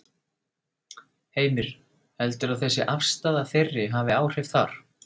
Heimir: Heldurðu að þessi afstaða þeirri hafi áhrif þar?